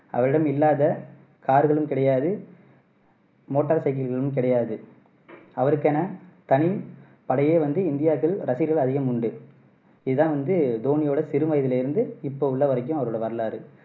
அவரிடம் இல்லாத car களும் கிடையாது motorcycle களும் கிடையாது அதற்கென தனி படையே வந்து ரசிகர்கள் அதிகம் உண்டு இது தான் வந்து தோனியோட சிறு வயதுல இருந்து இப்போ உள்ள வரைக்கும் அவரோட வரலாறு